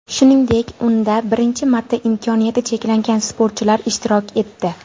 Shuningdek, unda birinchi marta imkoniyati cheklangan sportchilar ishtirok etdi.